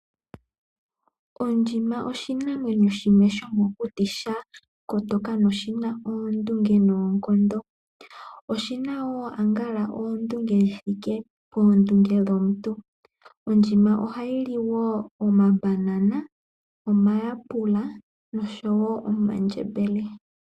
Ondjima oshinamwenyo shimwe shomokuti sha kotoka shina oondunge noonkondo . Oshina woo ambala oondunge dhithike poondunge dhomuntu . Ondjima ohayi li woo omabanana , omayapela noshowo omandjembele.